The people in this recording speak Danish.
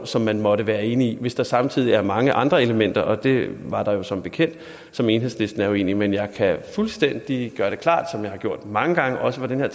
som man måtte være enig i hvis der samtidig er mange andre elementer og det var der jo som bekendt som enhedslisten er uenig i men jeg kan gøre det fuldstændig klart som jeg har gjort mange gange også fra den her